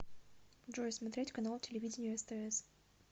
джой смотреть канал телевидения стс